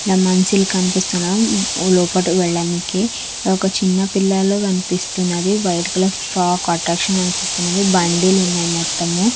ఈడ మంచిలు కనిపిస్తున్నాం లోపటికి వెళ్లానికి ఒక్క చిన్న పిల్లలు కనిపిస్తున్నది వైట్ కలర్ ఫ్రొక్ అట్రాక్షన్ అనిపిస్తున్నది బండిలు ఉన్నాయి మొత్తము.